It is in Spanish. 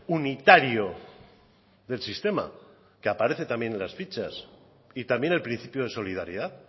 unitario del sistema que aparece también en las fichas y también el principio de solidaridad